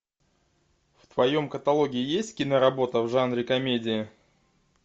в твоем каталоге есть киноработа в жанре комедия